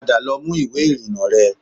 Padà lọ mú ìwé ìrìnnà rẹ